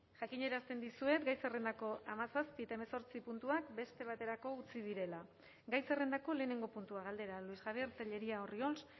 jakinarazten dizuet gai zerrendako hamazazpi eta hemezortzi puntuak beste baterako utzi direla gai zerrendako lehenengo puntua galdera luis javier tellería orriols